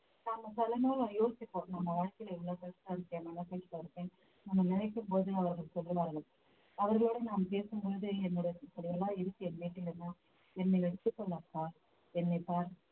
நாம சில நேரம் யோசிப்போம் நம்ம வாழ்க்கையில இவ்வளவு கஷ்டம் இருக்கே நம்ம நினைக்கும் போது அவர்கள் சொல்லுவார்கள் அவர்களோடு நாம் பேசும்பொழுது என்னோட இப்படியெல்லாம் இருக்கு என் வீட்டில் எல்லாம் என்னை வச்சிக்கமாட்டா என்னை பார்